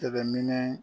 Tɛmɛnen